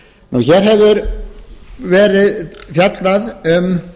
hér hefur verið fjallað um